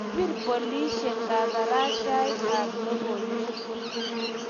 kipir polisek kabarashaik ab lokoiywek